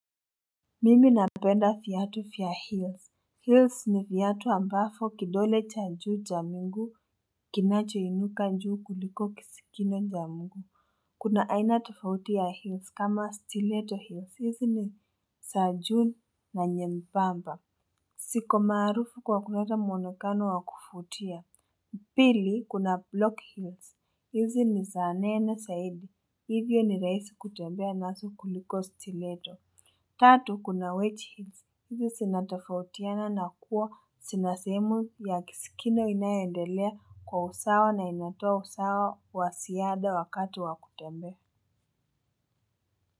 Mimi napenda viatu vya hills Hills ni viatu ambavyo kidole cha juu cha mguu kinacho inuka juu kuliko kisigino cha mguu. Kuna aina tafauti ya hills kama stileto hills hizi ni za juu na nyembamba ziko maarufu kwa kuleta mwonekano wa kuvutia. Pili kuna block hills hizi ni za nene zaidi hivyo ni rahisi kutembea nazo kuliko stileto. Tatu kuna wechi hizi sinatafautiana na kuwa sinasemu ya kisikino inayendelea kwa usawa na inatoa usawa wa siyada wakatu wa kutembe.